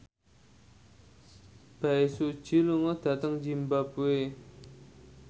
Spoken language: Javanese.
Bae Su Ji lunga dhateng zimbabwe